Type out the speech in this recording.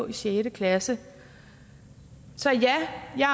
i sjette klasse så ja jeg